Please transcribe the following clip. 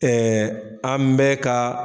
an bɛɛ ka